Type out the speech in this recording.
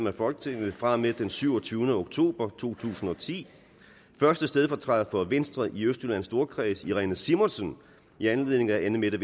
af folketinget fra og med den syvogtyvende oktober 2010 første stedfortræder for venstre i østjyllands storkreds irene simonsen i anledning af anne mette